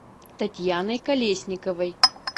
татьяной колесниковой